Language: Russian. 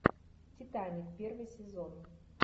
титаник первый сезон